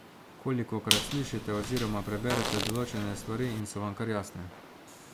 Kolikokrat slišite oziroma preberete določene stvari in so vam kar jasne.